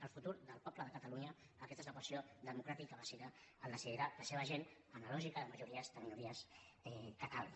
el futur del poble de catalunya aquesta és l’equació democràtica bàsica el decidirà la seva gent en la lògica de majories de minories que calgui